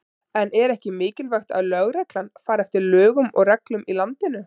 En er ekki mikilvægt að lögreglan fari eftir lögum og reglum í landinu?